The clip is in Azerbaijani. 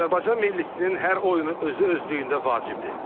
Azərbaycan millisinin hər oyunu özü-özlüyündə vacibdir.